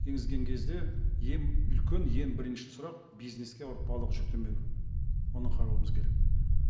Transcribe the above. енгізген кезде ең үлкен ең бірінші сұрақ бизнеске ауыртпалық жүктемеу оны қарауымыз керек